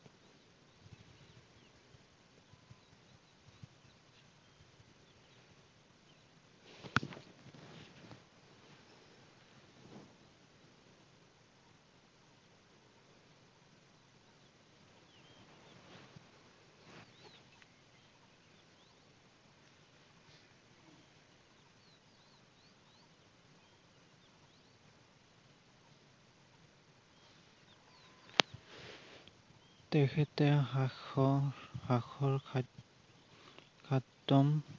তেখেতে হাস্য, হাসৰ খাদ্যম